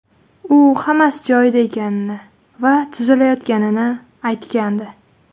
U hammasi joyida ekani va tuzalayotganini aytgandi.